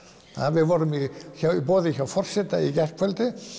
við vorum í boði hjá forsetanum í gærkvöldi